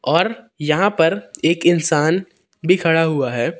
और यहां पर एक इंसान भी खड़ा हुआ है।